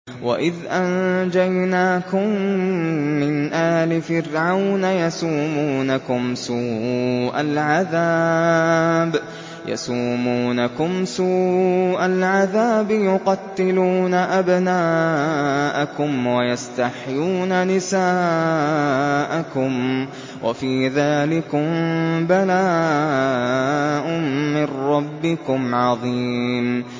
وَإِذْ أَنجَيْنَاكُم مِّنْ آلِ فِرْعَوْنَ يَسُومُونَكُمْ سُوءَ الْعَذَابِ ۖ يُقَتِّلُونَ أَبْنَاءَكُمْ وَيَسْتَحْيُونَ نِسَاءَكُمْ ۚ وَفِي ذَٰلِكُم بَلَاءٌ مِّن رَّبِّكُمْ عَظِيمٌ